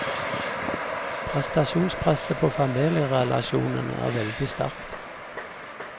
Prestasjonspresset på familierelasjonene er veldig sterkt.